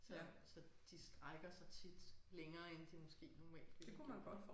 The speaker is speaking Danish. Så så de strækker sig tit længere end de måske normalt ville have gjort